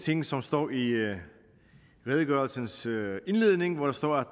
ting som står i redegørelsens indledning hvor der står